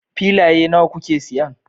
Filaye nawa kuke siyan